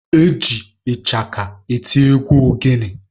Eji ịchaka eti egwu ogene.